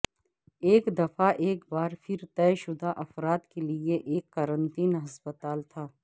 ایک دفعہ ایک بار پھر طے شدہ افراد کے لئے ایک قرنطین ہسپتال تھا